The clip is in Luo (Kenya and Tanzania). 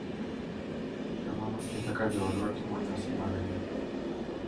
Kamano e kaka joodwa timo nyasi margi.